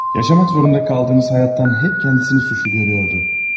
Yaşamak zorunda kaldığımız hayattan hep kendisini suçlu görüyordu.